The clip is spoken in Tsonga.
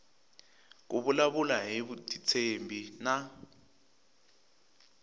ku vulavula hi vutitshembi na